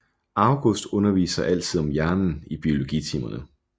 August underviser altid om hjernen i biologitimerne